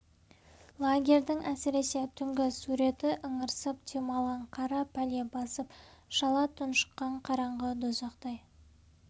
лагерьдің әсіресе түнгі суреті ыңырсып демалған қара пәле басып шала тұншыққан қараңғы дозақтай